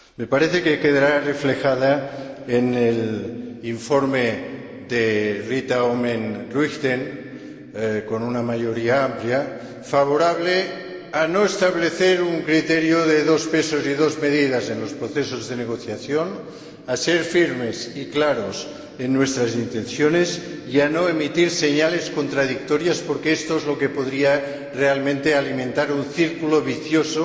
Me parece que quedará reflejada en el informe de Rita Oomen Ruijten, con una mayoría amplia, favorable a no establecer un criterio de dos pesos y dos medidas en los procesos de negociación, a ser firmes y claros en nuestras intenciones y a no emitir señales contradictorias, porque esto es lo que podría realmente alimentar un círculo vicioso,